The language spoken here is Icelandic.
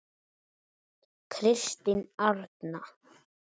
Kristín Arna.